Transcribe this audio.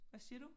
Hvad siger du?